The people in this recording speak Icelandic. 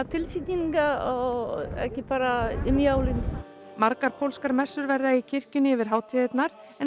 tilfinningar og ekki bara um jólin margar pólskar messur verða í kirkjunni yfir hátíðirnar en